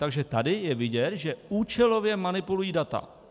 Takže tady je vidět, že účelově manipulují data.